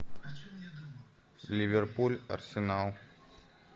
ливерпуль арсенал